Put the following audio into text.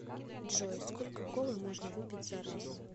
джой сколько колы можно выпить за раз